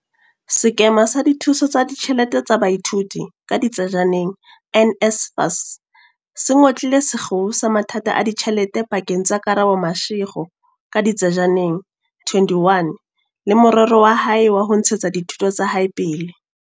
Sekema sa Dithuso tsa Ditjhelete tsa Baithuti, NSFAS, se ngotlile sekgeo sa mathata a ditjhelete pa keng tsa Karabo Mashego, 21, le morero wa hae wa ho ntshetsa dithuto tsa hae pele.